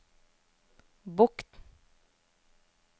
Bokn